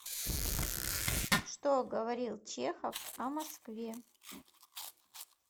что говорил чехов о москве